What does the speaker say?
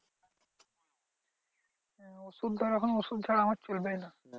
ওষুধ তো এখন ওষুধ ছাড়া আমার চলবেই না